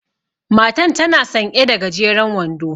Matan tana sanƴe da gajeren wando.